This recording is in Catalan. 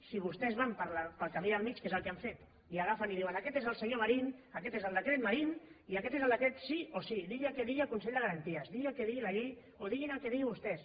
si vostès van pel camí del mig que és el que han fet i agafen i diuen aquest és el senyor marín aquest és el decret marín i aquest és el decret sí o sí sigui el que digui el consell de garanties digui el que sigui la llei o diguin el que diguin vostès